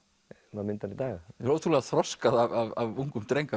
maður myndar í dag ótrúlega þroskað af ungum dreng að